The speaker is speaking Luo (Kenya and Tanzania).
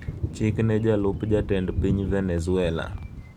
Chik ne Jalup Jatend piny Venezuela